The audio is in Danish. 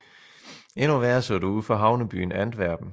Endnu værre så det ud for havnebyen Antwerpen